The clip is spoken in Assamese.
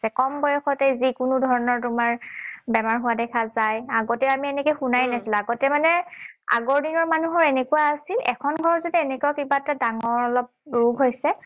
কম বয়সতেই যিকোনো ধৰণৰ তোমাৰ বেমাৰ হোৱা দেখা যায়। আগতে আমি এনেকে শুনাই নাছিলো। আগতে মানে আগৰ দিনৰ মানুহৰ এনেকুৱা আছিল এখন ঘৰত যদি এনেকুৱা কিবা এটা ডাঙৰ অলপ ৰোগ হৈছে,